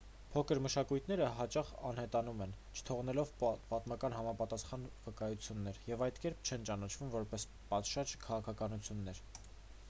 փոքր մշակույթները հաճախ անհետանում են չթողնելով պատմական համապատասխան վկայություններ և այդ կերպ չեն ճանաչվում որպես պատշաճ քաղաքակրթություններ